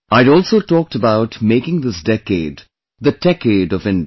I had also talked about making this decade the Techade of India